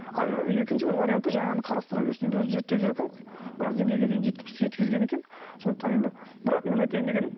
екінші бір варианты жаңағыны қарастыра берсін енді өзі зерттеп жүр екен ғой біраз деңгейге дейін жеткізген екен сондықтан енді бірақ менің айтайын дегенім